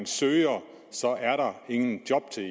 søger så er der ingen job til